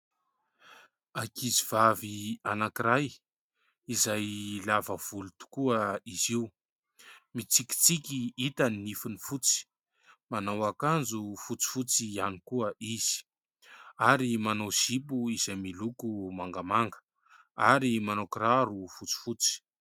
Ankizivavy anankiray izay lava volo tokoa izy io. Mitsikitsiky, hita ny nifiny fotsy, manao akanjo fotsifotsy ihany koa izy ary manao zipo izay miloko mangamanga ary manao kiraro fotsifotsy.